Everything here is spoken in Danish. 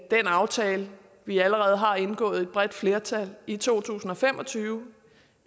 den aftale vi allerede har indgået med et bredt flertal i to tusind og fem og tyve